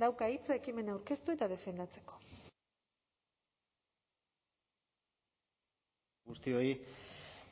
dauka hitza ekimena aurkeztu eta defendatzeko arratsalde on guztioi